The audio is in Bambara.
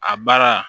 A baara